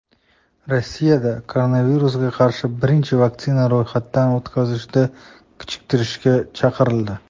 Rossiyada koronavirusga qarshi birinchi vaksinani ro‘yxatdan o‘tkazishni kechiktirishga chaqirildi.